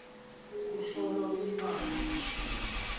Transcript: kuhlolwa kwelibanga lelishumi